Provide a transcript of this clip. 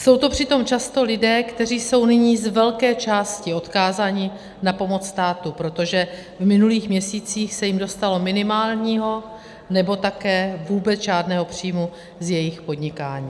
Jsou to přitom často lidé, kteří jsou nyní z velké části odkázaní na pomoc státu, protože v minulých měsících se jim dostalo minimálního, nebo také vůbec žádného příjmu z jejich podnikání.